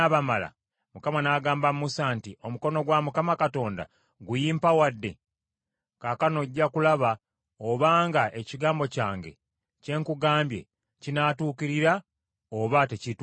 Mukama n’agamba Musa nti, “Omukono gwa Mukama Katonda guyimpawadde? Kaakano ojja kulaba obanga ekigambo kyange kye nkugambye kinaatuukirira oba tekiituukirire.”